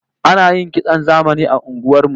Ana yin kitson zamani a unguwar ku?